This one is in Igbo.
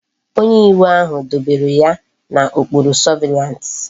Onye iwu ahu dobere ya na okpuru surveillance